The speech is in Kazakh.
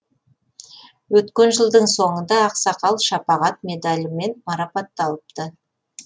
өткен жылдың соңында ақсақал шапағат медалімен марапатталыпты